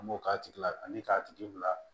An b'o k'a tigila ani k'a tigi bila